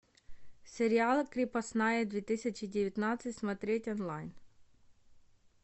сериал крепостная две тысячи девятнадцать смотреть онлайн